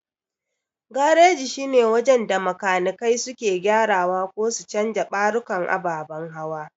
Gareji shine wajen da makanikai suke gyarawa ko su canja ɓarukan ababan hawa.